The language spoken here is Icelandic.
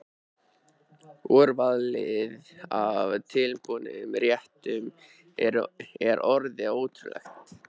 Úrvalið af tilbúnum réttum er orðið ótrúlegt.